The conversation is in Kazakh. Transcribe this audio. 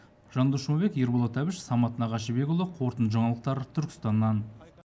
жандос жұмабек ерболат әбіш самат нағашыбекұлы қорытынды жаңалықтар түркістаннан